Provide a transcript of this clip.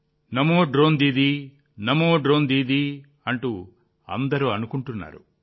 నమో drone Didi Namo drone Didi అంటూ అందరి నోళ్లలో నానుతున్నారు